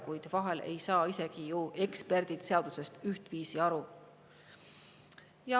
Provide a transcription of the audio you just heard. Paraku vahel ei saa isegi eksperdid seadusest ühtviisi aru.